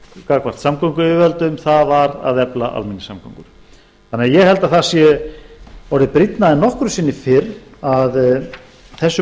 gagnvart samgönguyfirvöldum það var að efla almenningssamgöngur þannig að ég held að það sé orðið brýnna en nokkru sinni fyrr að þessum